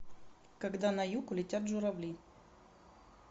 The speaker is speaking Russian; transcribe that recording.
когда на юг улетят журавли